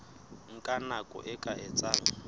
nka nako e ka etsang